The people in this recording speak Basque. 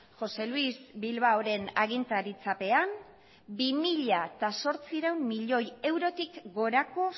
josé luis bilbaoren agintaritzapean bi mila zortziehun milioi eurotik gorako